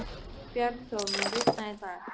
Bjarnþór, mun rigna í dag?